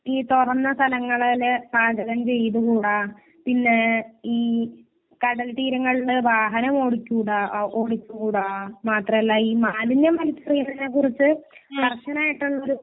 ഈ തുറന്ന സ്ഥലങ്ങളിൽ പാചകം ചെയ്ത് കൂടാ. പിന്നെ ഈ കടൽ തീരങ്ങളിൽ വാഹനം ഓടിച്ച് കൂടാ. ഓടിച്ചു കൂടാ. മാത്രല്ല ഈ മാലിന്യം മുക്തി ചെയ്യുന്നതിനെ കുറിച്ച് കർശനായിട്ടുള്ളൊരു